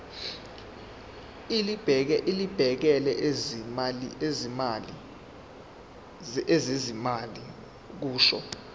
elibhekele ezezimali kusho